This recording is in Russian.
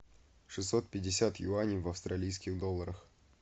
шестьсот пятьдесят юаней в австралийских долларах